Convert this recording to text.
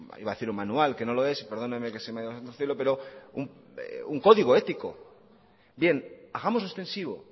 iba a decir un manual que no lo es y perdóneme que se me ha ido el santo al cielo pero un código ético bien hagámoslo extensivo